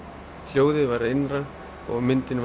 hljóðið væri hið innra og myndin